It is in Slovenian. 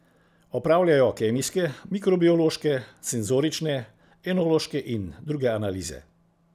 Opravljajo kemijske, mikrobiološke, senzorične, enološke in druge analize.